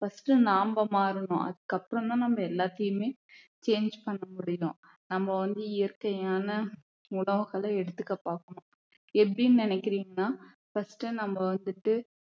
first நாம மாறனும் அதுக்கப்புறம் தான் நம்ம எல்லாத்தையுமே change பண்ண முடியும் நம்ம வந்து இயற்கையான உணவுகளை எடுத்துக்க பாக்கணும் எப்படின்னு நினைக்கிறீங்கன்னா first நம்ம வந்துட்டு